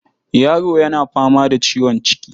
Yaro yana fama da ciwon ciki.